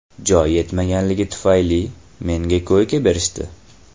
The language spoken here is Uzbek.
Joy yetmaganligi tufayli, menga koyka berishdi.